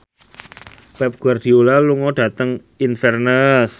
Pep Guardiola lunga dhateng Inverness